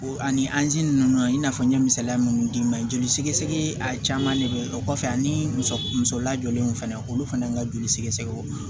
O ani anzini ninnu i n'a fɔ n ye misaliya munnu d'i ma joli sɛgɛsɛgɛ a caman de bɛ ye o kɔfɛ ani muso muso lajɔlen fana olu fana ka joli sɛgɛsɛgɛ